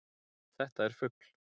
Þetta er fugl.